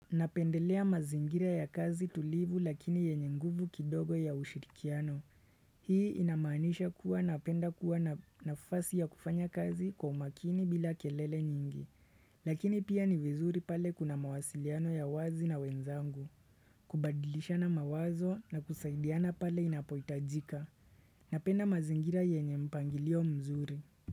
Napendelea mazingira ya kazi tulivu lakini yenye nguvu kidogo ya ushirikiano. Hii inamanisha kuwa napenda kuwa nafasi ya kufanya kazi kwa umakini bila kelele nyingi. Lakini pia ni vizuri pale kuna mawasiliano ya wazi na wenzangu. Kubadilishana mawazo na kusaidiana pale inapoitajika. Napenda mazingira yenye mpangilio mzuri.